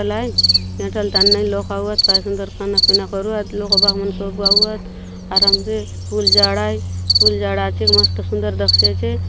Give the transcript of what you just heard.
काय सुंदर खाना पीना करुआत लोक बाग मन सबु आउआत और एमजे फूल झाड़ आय फूल झाड़ आछे क मस्त सुन्दर दखसी आछे।